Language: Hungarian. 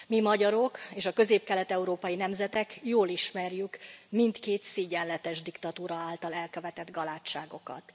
Mi, magyarok és a közép kelet európai nemzetek jól ismerjük mindkét szégyenletes diktatúra által elkövetett galádságokat.